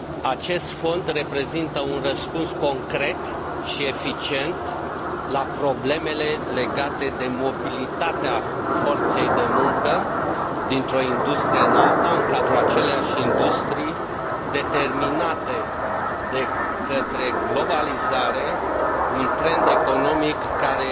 Acest fond reprezintă un răspuns concret și eficient la problemele legate de mobilitatea forței de muncă dintr o industrie în alta, respectiv în cadrul aceleași industrii, determinate de către globalizare, un trend economic care